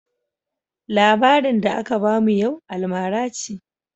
Labarin da aka bamu yau almara ce.